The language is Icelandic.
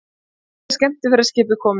Fyrsta skemmtiferðaskipið komið